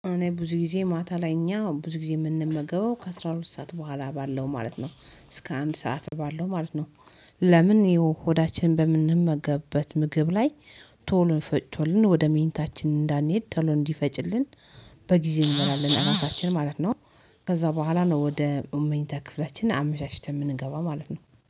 እኔ ብዙ ጊዜ ማታ ላይ እኛ ብዙ ጊዜ የምንመገበው ከአሥራ ሁለት ሰዓት በኋላ ባለው ማለት ነው። እስከ አንድ ሰዓት ባለው ማለት ነው። ለምን የሆዳችን በምንመገበት ምግብ ላይ ቶሎ ፈጭቶልን ወደ ምኝታችን እንዳንሄድ ተሎ እንዲፈጭልን በጊዜ እንመራለን ራታችን ማለት ነው። ከዛ በኋላ ነው ወደ መኝታ ክፍላችን አመቻችተን የምንገባ ማለት ነው